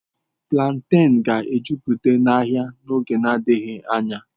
Plantains ga-ejupụta ahịa n'oge adịghị anya.